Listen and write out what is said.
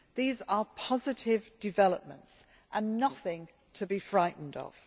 These are positive developments and are nothing to be frightened